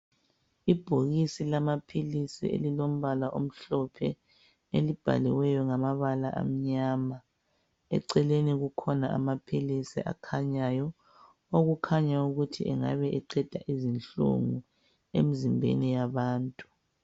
Ibhokisi lamaphilisi elilombala omhlophe elibhaliweyo ngamabala amnyama. Eceleni kukhona amaphilisi akhanyayo, okukhanya ukuthi engabe eqeda izinhlungu emzimbeni yabantu